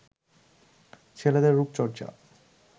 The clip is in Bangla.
ছেলেদের রুপচর্চা